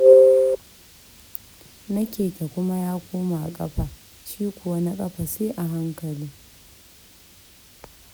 Na keke kuma ya koma ƙafa, shi kuwa na ƙafa sai a hankali.